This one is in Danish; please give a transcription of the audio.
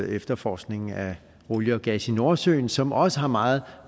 efterforskningen af olie og gas i nordsøen som også har meget